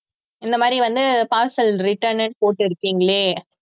இந்த மாதிரி வந்து parcel return ன்னு போட்டுருக்கீங்களே